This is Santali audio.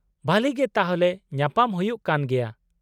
- ᱵᱷᱟᱞᱤ ᱜᱮ , ᱛᱟᱦᱞᱮ ᱧᱟᱯᱟᱢ ᱦᱩᱭᱩᱜ ᱠᱟᱱ ᱜᱮᱭᱟ ᱾